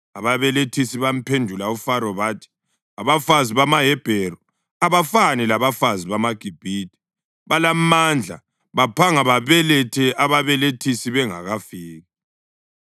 Ababelethisi bamphendula uFaro bathi, “Abafazi bamaHebheru abafani labafazi bamaGibhithe; balamandla baphanga babelethe ababelethisi bengakafiki.”